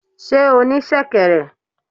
Sé o ní sèkèrè?